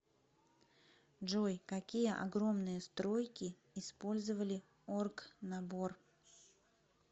джой какие огромные стройки использовали оргнабор